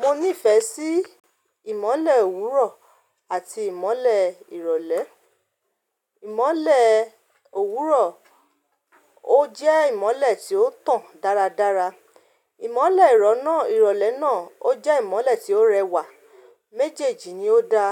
Mo nífẹ̀ẹ́ sí ìmọ́lẹ̀ òwúrọ̀ àti ìmọ́lẹ̀ ìrọ̀lẹ́. Ìmọ́lẹ̀ òwúrọ̀ ó jẹ́ ìmọ́lẹ̀ tí ó tàn dáradára, ìmọ́lẹ̀ ìrọ̀lẹ́ náà ó jẹ́ ìmọ́lẹ̀ tí ó rẹwà. Méjèèjì ni ó da,